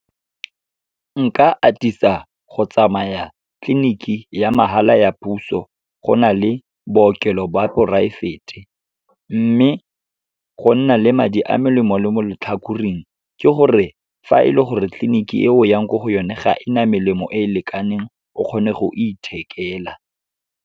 Nka atisa go tsamaya tleliniki ya mahala ya puso, go na le bookelo ba poraefete. Mme, go nna le madi a melemo le mo letlhakoreng ke gore fa e le gore tliliniki eo yang ko go yone, ga e na melemo e e lekaneng, o kgone go ithekela.